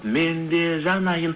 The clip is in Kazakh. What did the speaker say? мен де жанайын